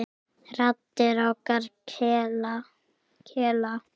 Raddir okkar kela.